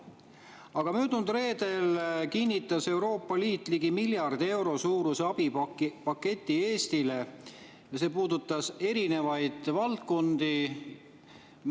Aga möödunud reedel kinnitas Euroopa Liit ligi miljardi euro suuruse abipaketi Eestile ja see puudutas erinevaid valdkondi.